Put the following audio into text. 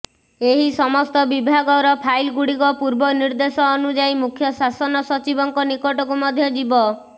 ଏହି ସମସ୍ତ ବିଭାଗର ଫାଇଲଗୁଡ଼ିକ ପୂର୍ବ ନିର୍ଦ୍ଦେଶ ଅନୁଯାୟୀ ମୁଖ୍ୟ ଶାସନ ସଚିବଙ୍କ ନିକଟକୁ ମଧ୍ୟ ଯିବ